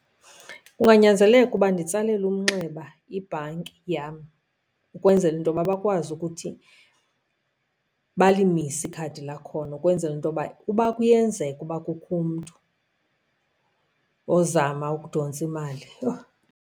Kunganyanzeleka uba nditsalele umnxeba ibhanki yam ukwenzela into yoba bakwazi ukuthi balimise ikhadi lakhona, ukwenzela into yoba uba kuyenzeka ukuba kukho umntu ozama ukudontsa imali, yho.